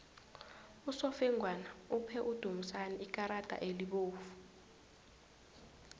usofengwana uphe udumisani ikarada elibovu